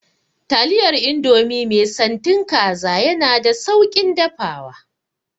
Taliyar indomie mai santin kaza yana da sauƙin dafawa